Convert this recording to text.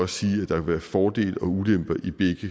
sige at der vil være fordele og ulemper